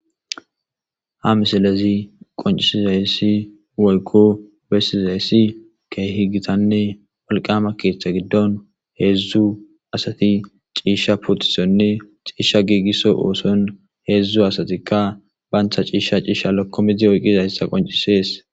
Ha misalezi qoncisizayssi woykko bessizayssi keehi gitanne walqama keeththa giddon heedzdzu asati ciisha putisonne ciisha giigisso ooson heedzdzu asatikka bayntha ciisha ciisha lakkomedzi oyqizayssa qoncisees.